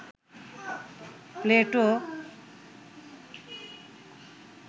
Plato